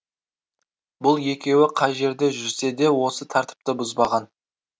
бұл екеуі қай жерде жүрсе де осы тәртіпті бұзбаған